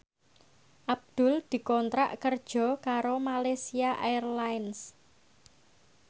Abdul dikontrak kerja karo Malaysia Airlines